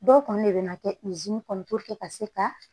Dɔw kɔni de bɛ na kɛ kɔnɔ ka se ka